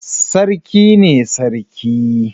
Sarki ne Sarki.